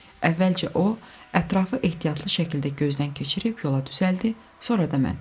Əvvəlcə o ətrafı ehtiyatlı şəkildə gözdən keçirib yola düzəldi, sonra da mən.